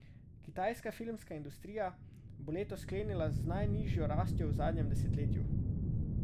Kitajska filmska industrija bo leto sklenila z najnižjo rastjo v zadnjem desetletju.